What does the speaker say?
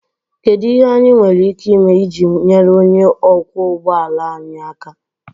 Kedu ihe anyị nwere ike ime iji nyere onye ọkwọ ụgbọ ala anyị aka?